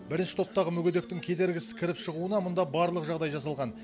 бірінші топтағы мүгедектің кедергісіз кіріп шығуына мұнда барлық жағдай жасалған